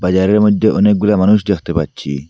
বাজারের মইধ্যে অনেকগুলা মানুষ দেখতে পাচ্ছি।